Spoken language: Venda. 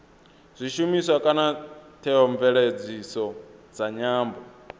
zwishumiswa kana theomveledziso dza nyambo